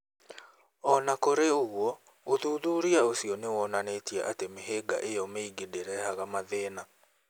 O na kũrĩ ũguo, ũthuthuria ũcio nĩ wonanĩtie atĩ mĩhĩnga ĩyo mĩingĩ ndĩrehaga mathĩna.